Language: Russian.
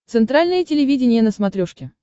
центральное телевидение на смотрешке